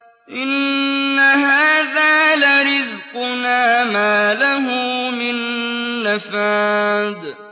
إِنَّ هَٰذَا لَرِزْقُنَا مَا لَهُ مِن نَّفَادٍ